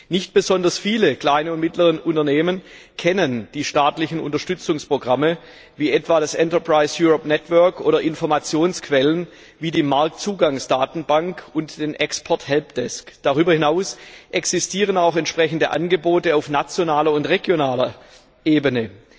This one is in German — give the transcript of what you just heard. Nicht besonders viele kleine und mittlere Unternehmen kennen die staatlichen Unterstützungsprogramme, wie etwa das Enterprise Europe Network oder Informationsquellen wie die Marktzugangsdatenbank und den Export Helpdesk Darüber hinaus existieren auch entsprechende Angebote auf nationaler und regionaler Ebene.